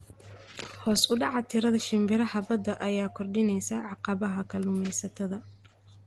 Hoos u dhaca tirada shimbiraha badda ayaa kordhinaysa caqabadaha kalluumaysatada.